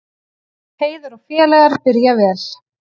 Heiðar og félagar byrja vel